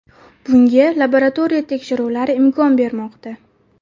Bunga laboratoriya tekshiruvlari imkon bermoqda.